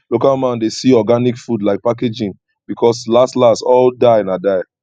local man dey see organic food like packaging because las las all die na die